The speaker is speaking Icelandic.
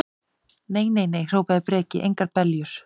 Nei, nei, nei, hrópaði Breki, engar beljur.